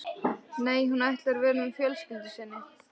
Nei, hún ætlar að vera með fjölskyldu sinni.